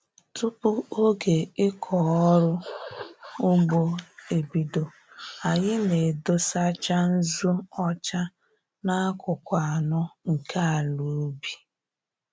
Tupu oge ịkọ ọrụ ugbo ebido, anyị na-edosacha nzụ ọcha n'akụkụ anọ nke ala ubi